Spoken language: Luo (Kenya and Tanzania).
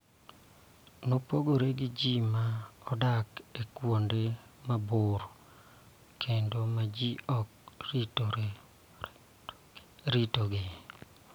mopogore gi ji ma odak e kuonde mabor kendo ma ji ok ritogi.